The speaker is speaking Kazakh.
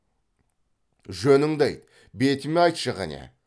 жөніңді айт бетіме айтшы қәне